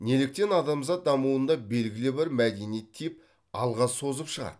неліктен адамзат дамуында белгілі бір мәдени тип алға созып шығады